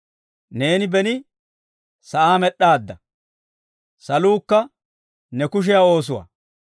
Neeni beni sa'aa med'd'aadda; saluukka ne kushiyaa oosuwaa.